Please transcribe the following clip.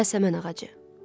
Yasəmən ağacı.